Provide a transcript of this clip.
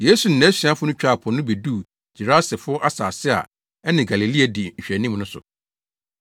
Yesu ne nʼasuafo no twaa po no beduu Gerasefo asase a ɛne Galilea di nhwɛanim no so.